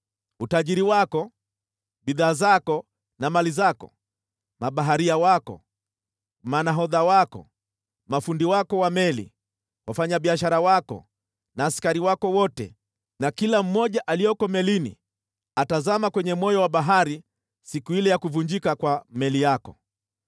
Utajiri wako, bidhaa zako na mali zako, mabaharia wako, manahodha wako, mafundi wako wa meli, wafanyabiashara wako na askari wako wote, na kila mmoja aliyeko melini atazama kwenye moyo wa bahari siku ile ya kuvunjika kwa meli yako.